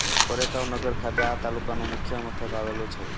કોરેગાંવ નગર ખાતે આ તાલુકાનું મુખ્ય મથક આવેલું છે